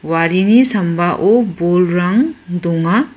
warini sambao bolrang donga.